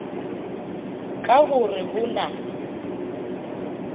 ka ho re ho na